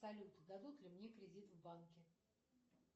салют дадут ли мне кредит в банке